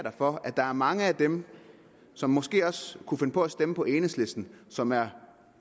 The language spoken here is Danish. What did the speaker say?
for at der er mange af dem som måske også kunne finde på at stemme på enhedslisten som er